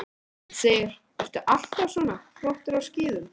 Hödd: Ertu alltaf svona flottur á skíðum?